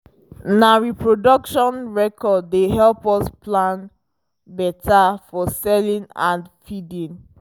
na reproduction record dey help us plan better for selling and feeding